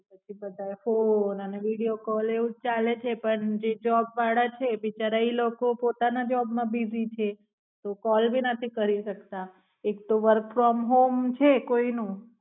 ત્યારે ફોન અને video call દ્વારાજ ચલે છે પણ જે જોબ વાળા છે બિચારા ઈ લોકો પોતાના job માં બિજી છે તો call ભીનથી કરી શકતા છે એકતો work from home છે કોઈ નું.